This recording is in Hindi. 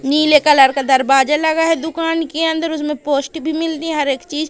नीले कलर का दरबाजा लगा है दुकान की अन्दर उसमें पोश्ट भी मिलती हर एक चीज--